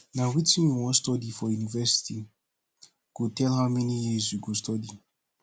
na wetin you wan study for university go tell how many years you go study